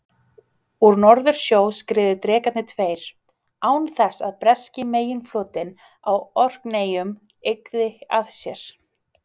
Úr Norðursjó skriðu drekarnir tveir, án þess að breski meginflotinn á Orkneyjum yggði að sér.